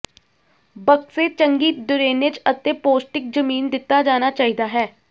ਬਕਸੇ ਚੰਗੀ ਡਰੇਨੇਜ ਅਤੇ ਪੌਸ਼ਟਿਕ ਜ਼ਮੀਨ ਦਿੱਤਾ ਜਾਣਾ ਚਾਹੀਦਾ ਹੈ